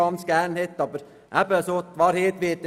Die Wahrheit dürfte aber in der Mitte liegen.